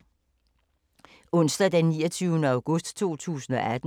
Onsdag d. 29. august 2018